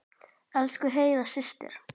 Elsku Heiða systir.